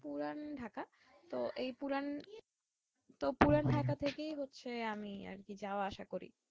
পুরান ঢাকা তো এই পুরান ঢাকা থেকেই হচ্ছে আমি আর কি যাওয়া আসা করি